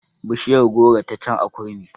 Bishiyar goro ta can a kurmi